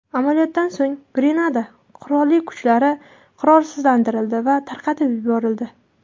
Amaliyotdan so‘ng Grenada qurolli kuchlari qurolsizlantirildi va tarqatib yuborildi.